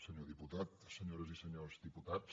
senyor diputat senyores i senyors diputats